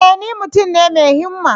E! ni mutum ne mai himma.